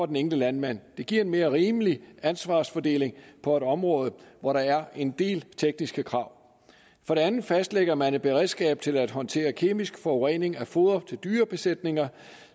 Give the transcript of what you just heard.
den enkelte landmand det giver en mere rimelig ansvarsfordeling på et område hvor der er en del tekniske krav for det andet fastlægger man et beredskab til at håndtere kemisk forurening af foder til dyrebesætninger